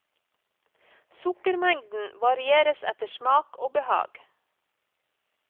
Sukkermengden varieres etter smak og behag.